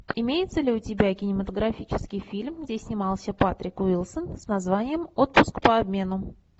имеется ли у тебя кинематографический фильм где снимался патрик уилсон с названием отпуск по обмену